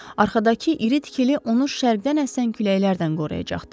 Arxadakı iri tikili onu şərqdən əsən küləklərdən qoruyacaqdı.